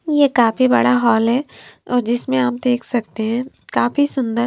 ये काफी बड़ा हॉल है और जिसमें हम देख सकते है काफी सुंदर--